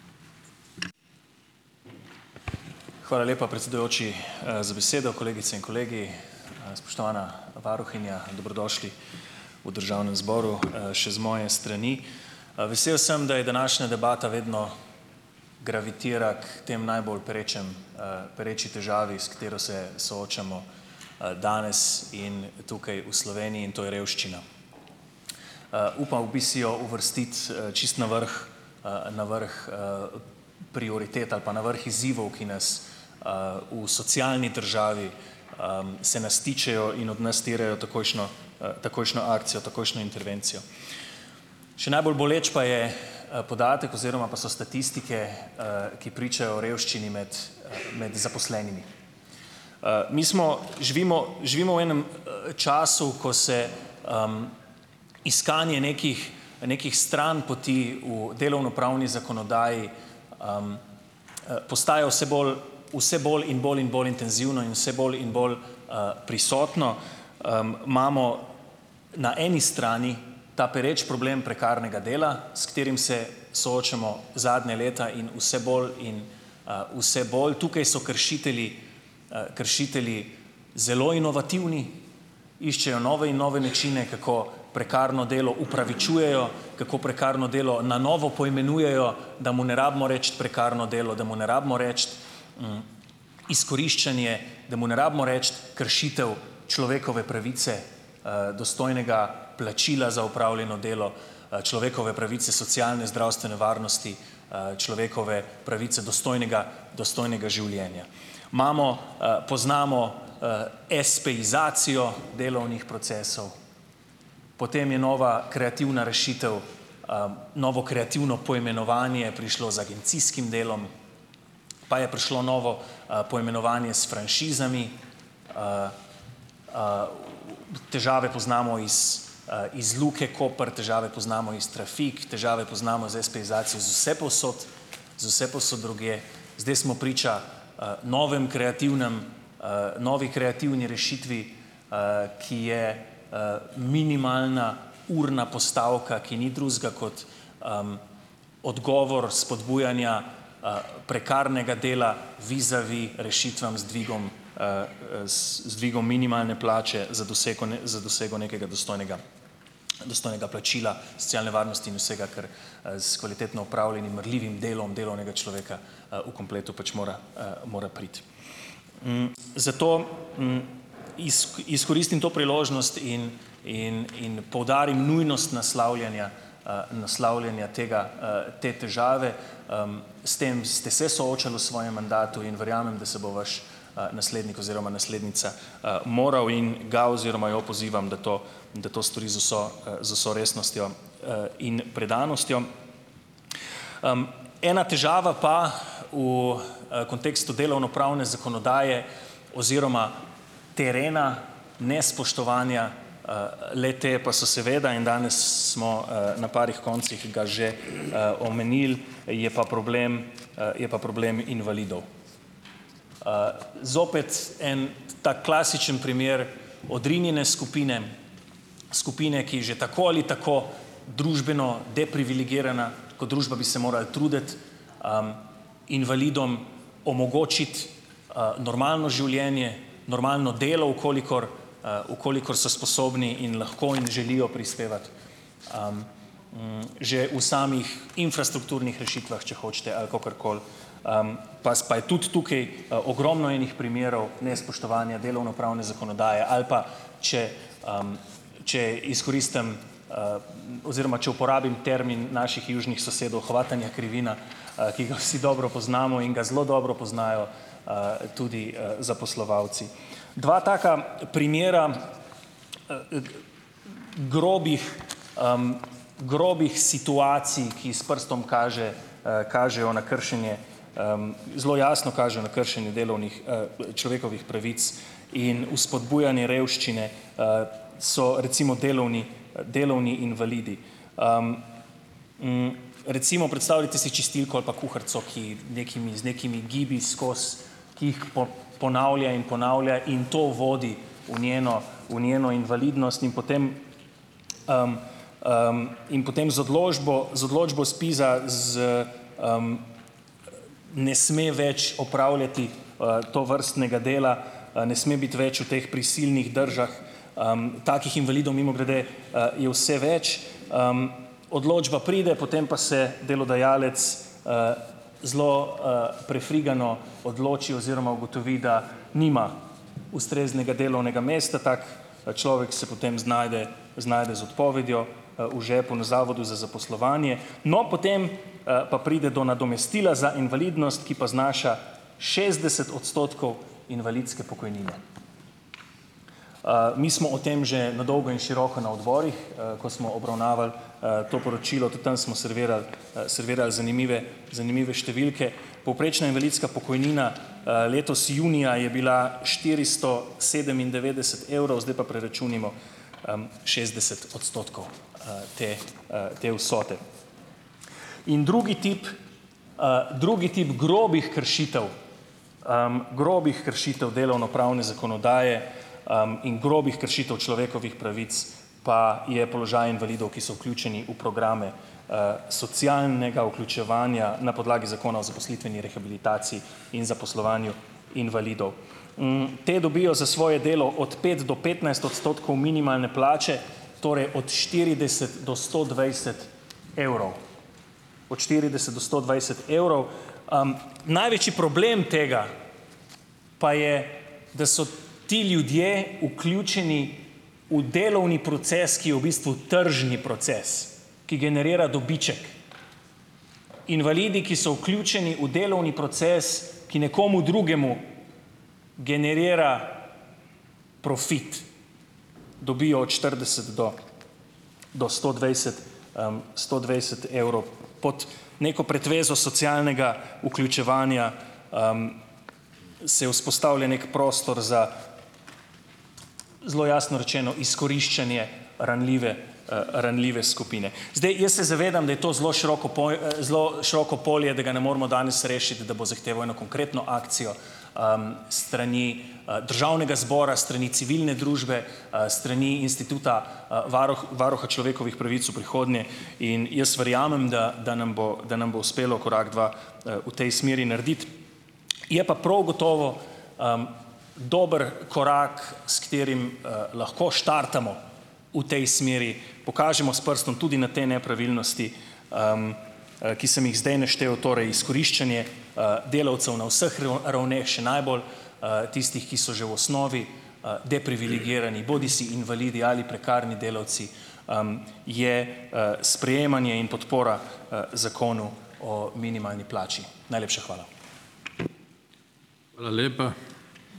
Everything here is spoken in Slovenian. Hvala lepa, predsedujoči, za besedo. Kolegice in kolegi, spoštovana varuhinja! Dobrodošli v državnem zboru, še z moje strani. Vesel sem, da je današnja debata vedno gravitira k tem najbolj perečim, pereči težavi, s katero se soočamo, danes in tukaj v Sloveniji, to je revščina. Upal bi si jo uvrstiti, čisto na vrh, na vrh, prioritet ali pa na vrh izzivov, ki nas, v socialni državi, se nas tičejo in od nas terjajo takojšnjo, takojšnjo akcijo, takojšnjo intervencijo. Še najbolj boleč pa je, podatek oziroma pa so statistike, ki pričajo o revščini med med zaposlenimi. Mi smo živimo živimo v, enem času, ko se iskanje nekih nekih stranpoti v delovnopravni zakonodaji postaja vse bolj, vse bolj in bolj in bolj intenzivno in vse bolj in bolj, prisotno. Imamo na eni strani ta pereči problem prekarnega dela, s katerim se soočamo zadnja leta in vse bolj in, vse bolj. Tukaj so kršitelji, kršitelji zelo inovativni. Iščejo nove in nove načine, kako prekarno delo upravičujejo, kako prekarno delo na novo poimenujejo, da mu ne rabimo reči prekarno delo, da mu ne rabimo reči izkoriščanje, da mu ne rabimo reči kršitev človekove pravice, dostojnega plačila za opravljeno delo, človekove pravice, socialne zdravstvene varnosti, človekove pravice dostojnega, dostojnega življenja. Imamo, poznamo, espeizacijo delovnih procesov, potem je nova kreativna rešitev, novo kreativno poimenovanje prišlo z agencijskim delom. Pa je prišlo novo, poimenovanje s franšizami, težave poznamo iz, iz Luke Koper, težave poznamo iz trafik, težave poznamo z espeizacijo z vsepovsod so vsepovsod drugje. Zdaj smo priča, novem kreativnem, novi kreativni rešitvi, ki je, minimalna urna postavka, ki ni drugega kot odgovor spodbujanja, prekarnega dela vizavi rešitvam z dvigom, s z dvigom minimalne plače za doseko za dosego nekega dostojnega, dostojnega plačila socialne varnosti in vsega, kar, s kvalitetno opravljenim marljivim delom delovnega človeka, v kompletu pač mora, mora priti. Zato, izkoristim to priložnost in in in poudarim nujnost naslavljanja, naslavljanja tega, te težave, S tem ste se soočali v svojem mandatu in verjamem, da se bo vaš, naslednik oziroma naslednica, moral in ga oziroma jo pozivam, da to da to stori z vso, z vso resnostjo, in predanostjo. Ena težava pa v, kontekstu delovnopravne zakonodaje oziroma terena, nespoštovanja, le-te pa so seveda in danes smo, na parih koncih ga že, omenili, je pa problem, je pa problem invalidov. Zopet en tak klasičen primer odrinjene skupine, skupine, ki že tako ali tako družbeno deprivilegirana. Kot družba bi se morali truditi invalidom omogočiti, normalno življenje, normalno delo, v kolikor, v kolikor so sposobni in lahko in želijo prispevati, že v samih infrastrukturnih rešitvah, če hočete, ali kakorkoli. pa je tudi tukaj ogromno enih primerov nespoštovanja delovnopravne zakonodaje, ali pa, če, če izkoristim oziroma uporabim termin naših južnih sosedov hvatanja krivina, ki ga vsi dobro poznamo in ga zelo dobro poznajo, tudi, zaposlovalci. Dva taka primera, grobih, grobih situacij, ki s prstom kaže, kažejo na kršenje, zelo jasno kažejo na kršenje delovnih, človekovih pravic in vzpodbujanje revščine, so, recimo, delovni delovni invalidi. Recimo, predstavljajte si čistilko ali pa kuharico, ki nekimi z nekimi gibi skozi, ki jih ponavlja in ponavlja in to vodi v njeno v njeno invalidnost. In potem in potem z odločbo, z odločbo ZPIZ-a z ne sme več opravljati, tovrstnega dela, ne sme biti več v teh prisilnih držah, takih invalidov, mimogrede, je vse več, odločba pride, potem pa se delodajalec, zelo, prefrigano odloči oziroma ugotovi, da nima ustreznega delovnega mesta, tak, človek se potem znajde, znajde z odpovedjo v žepu na zavodu za zaposlovanje. No, potem, pa pride do nadomestila za invalidnost, ki pa znaša šestdeset odstotkov invalidske pokojnine. Mi smo o tem že na dolgo in široko na odborih, ko smo obravnavali, to poročilo, tudi tam smo servirali, servirali zanimive, zanimive številke. Povprečna invalidska pokojnina, letos junija je bila štiristo sedemindevetdeset evrov, zdaj pa preračunajmo, šestdeset odstotkov, te, te vsote. In drugi tip, drugi tip grobih kršitev, grobih kršitev delovnopravne zakonodaje, in grobih kršitev človekovih pravic pa je položaj invalidov, ki so vključeni v programe, socialnega vključevanja na podlagi Zakona o zaposlitveni rehabilitaciji in zaposlovanju invalidov. Ti dobijo za svoje delo od pet do petnajst odstotkov minimalne plače, torej od štirideset do sto dvajset evrov. Od štirideset do sto dvajset evrov. Največji problem tega pa je, da so ti ljudje vključeni v delovni proces, ki je v bistvu tržni proces, ki generira dobiček. Invalidi, ki so vključeni v delovni proces, ki nekomu drugemu generira profit, dobijo od štirideset do do sto dvajset, sto dvajset evrov. Pod neko pretvezo socialnega vključevanja se vzpostavlja neki prostor za, zelo jasno rečeno, izkoriščanje ranljive, ranljive skupine. Zdaj, jaz se zavedam, da je to zelo široko zelo široko polje, da ga ne moremo danes rešiti, da bo zahteval eno konkretno akcijo, s strani, državnega zbora, s strani civilne družbe, s strani instituta, varuha človekovih pravic v prihodnje. In jaz verjamem, da da nam bo da nam bo uspelo korak, dva, v tej smeri narediti. Je pa prav gotovo dober korak, s katerim, lahko štartamo v tej smeri, pokažemo s prstom tudi na te nepravilnosti, ki sem jih zdaj naštel, torej izkoriščanje, delavcev na vseh ravneh, še najbolj, tistih, ki so že v osnovi, deprivilegirani, bodisi invalidi ali prekarni delavci, je, sprejemanje in podpora, zakonu o minimalni plači. Najlepša hvala.